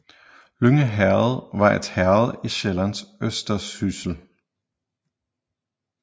Lynge Herred var et herred i Sjællands Østersyssel